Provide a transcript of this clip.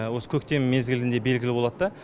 осы көктем мезгілінде белгілі болат та